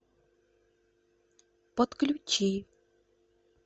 подключи